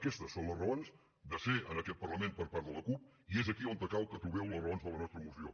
aquestes són les raons de ser en aquest parlament per part de la cup i és aquí on cal que trobeu les raons de la nostra moció